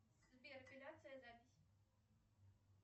сбер эпиляция запись